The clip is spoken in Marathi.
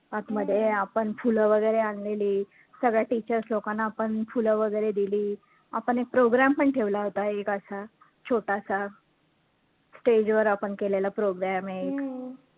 आतमध्ये आपण फुलं वैगरे आणलेली सगळ्या teachers लोकांना आपण फुलं वैगरे दिली. आपण एक program पण ठेवला होता एक असा छोटासा stage वर आपण केलेला program एक